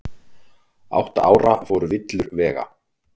Átta ára fór villur vega